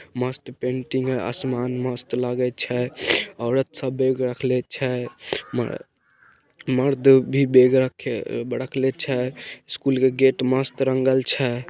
मस्त पेंटिंग है आसमान मस्त लागे छै औरत सब बैग रखले छै मर्द भी बैग रख रखले छै स्कूल के गेट मस्त रंगल छै।